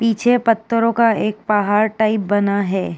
पीछे पत्थरों का एक पहाड़ टाइप बना है।